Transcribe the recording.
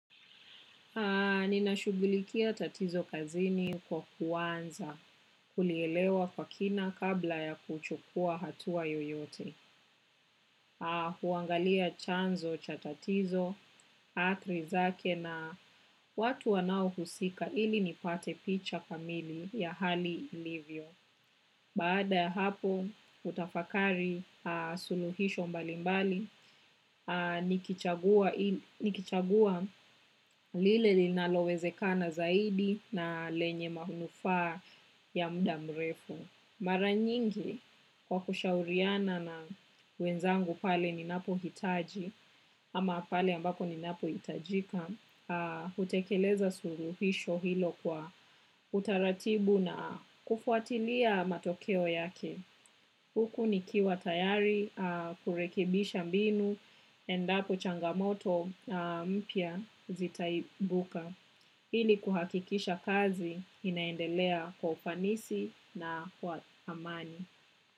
Nina shugulikia tatizo kazini kwa kuanza kulielewa kwa kina kabla ya kuchukua hatua yoyote. Huangalia chanzo cha tatizo athari zake na watu wanao husika ili nipate picha kamili ya hali livyo. Baada ya hapo hutafakari suluhisho mbalimbali, nikichagua lile linalowezekana zaidi na lenye manufaa ya muda mrefu. Mara nyingi kwa kushauriana na wenzangu pale ninapo hitaji ama pale ambapo ninapo hitajika hutekeleza suluhisho hilo kwa utaratibu na kufuatilia matokeo yake. Huku nikiwa tayari kurekibisha mbinu endapo changamoto mpya zitaibuka. Ili kuhakikisha kazi inaendelea kwa ufanisi na kwa thamani.